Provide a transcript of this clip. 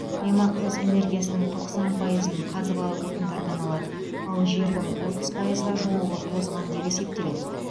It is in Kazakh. аймақ өз энергиясының тоқсан пайызын қазбалы отындардан алады ал жердің отыз пайызға жуығы тозған деп есептеледі